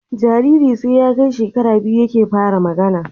Jariri sai ya Kai shekara biyu yake fara magAna